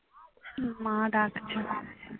হম মা ডাকছে।